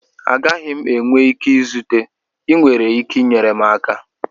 Agaghị m enwe ike izute, ị nwere ike inyere m aka?